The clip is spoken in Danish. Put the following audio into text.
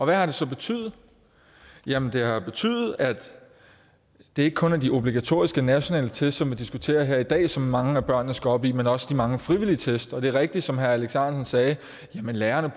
hvad har det så betydet jamen det har jo betydet at det ikke kun er de obligatoriske nationale test som vi diskuterer her i dag som mange af børnene skal op i men også de mange frivillige test og det er rigtigt som herre alex ahrendtsen sagde at lærerne